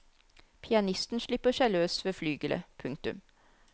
Pianisten slipper seg løs ved flygelet. punktum